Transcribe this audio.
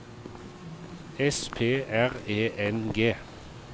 S P R E N G